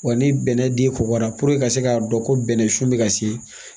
Wa ni bɛnnɛ den kobara ka se k'a dɔn ko bɛnɛ sun bɛ ka se